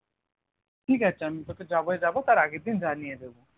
ঠিক আছে আমি তোকে যবে যাবো তার আগের দিন জানিয়ে দেবো